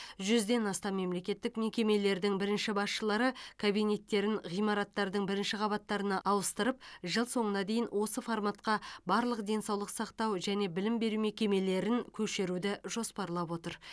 жүзден астам мемлекеттік мекемелердің бірінші басшылары кабинеттерін ғимараттардың бірінші қабаттарына ауыстырып жыл соңына дейін осы форматқа барлық денсаулық сақтау және білім беру мекемелерін көшіруді жоспарлап отыр